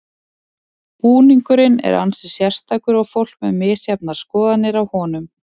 Búningurinn er ansi sérstakur og fólk með misjafnar skoðanir á honum.